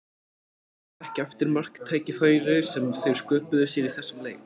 Ég man ekki eftir marktækifæri sem þeir sköpuðu sér í þessum leik.